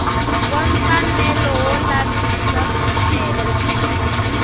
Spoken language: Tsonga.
wa mfanelo wo lavisisa swicelwa